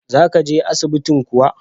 Za ka je asibintin kuwa?